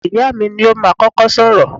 Ìyáà mi ni ó máa kọ́kọ́ sọ̀rọ̀.